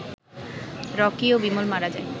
Rocky ও বিমল মারা যায়